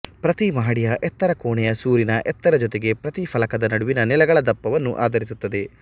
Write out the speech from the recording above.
ಪ್ರತಿ ಮಹಡಿಯ ಎತ್ತರ ಕೋಣೆಯ ಸೂರಿನ ಎತ್ತರ ಜೊತೆಗೆ ಪ್ರತಿ ಫಲಕದ ನಡುವಿನ ನೆಲಗಳ ದಪ್ಪವನ್ನು ಆಧರಿಸುತ್ತದೆ